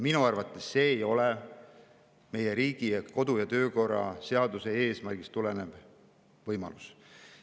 Minu arvates ei ole see meie kodu‑ ja töökorra seaduse eesmärgist tulenev võimalus.